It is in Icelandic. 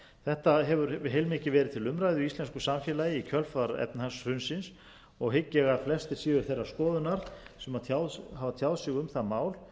þetta hefur heilmikið verið til umræðu í íslensku samfélagi í kjölfar efnahagshrunsins og hygg ég að flestir séu þeirrar skoðunar sem hafa tjáð sig um það mál